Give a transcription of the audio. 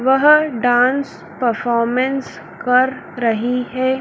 वह dance performance कर रही हैं।